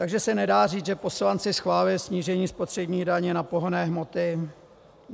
Takže se nedá říct, že poslanci schválili snížení spotřební daně na pohonné hmoty?